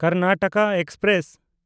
Karnataka express